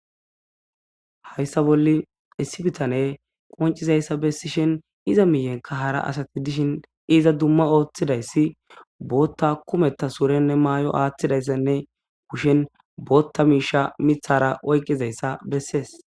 Hayssa bolla issi bittaney qoncizzayss agidishin izza mihenkka hara assay dishin izza dumma othizzaybotha kumetha mayoo mayzayssanne kushen botha misha oyqqizayssa qonccisees.